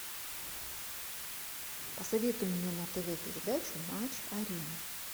посоветуй мне на тв передачу матч арена